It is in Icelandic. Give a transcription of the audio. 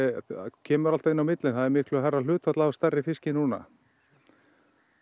kemur alltaf inn á milli en það er miklu hærra hlutfall af stærri fiski núna